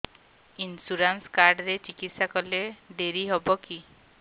insurance card ରେ ଚିକିତ୍ସା କଲେ ଡେରି ହବକି